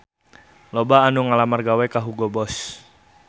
Loba anu ngalamar gawe ka Hugo Boss